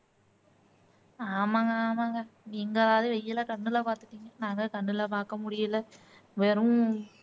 ஆமாங்க ஆமாங்க நீங்களாவது வெயிலை கண்ணுல பாத்துட்டீங்க நாங்க கண்ணுல பாக்க முடியல வெறும்